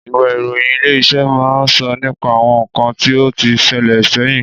Ìwé ìròyìn Ilé-iṣẹ́ máa ń sọ nípa àwọn ǹkan tí ó tí sele sẹ́yìn